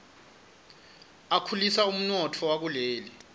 akhulisa umnotfo wakuleli